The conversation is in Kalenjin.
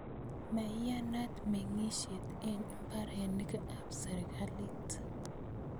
Maiyanat meng'isyet eng' mbarenik ap sirikalit.